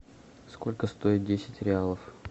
сколько стоит десять реалов